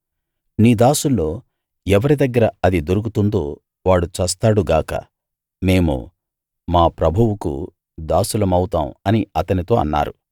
నీ దాసుల్లో ఎవరి దగ్గర అది దొరుకుతుందో వాడు చస్తాడు గాక మేము మా ప్రభువుకు దాసులమవుతాం అని అతనితో అన్నారు